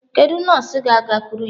Kedu nọọsụ ga-agakwuru ya?